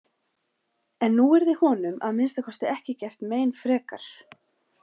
En nú yrði honum að minnsta kosti ekki gert mein frekar.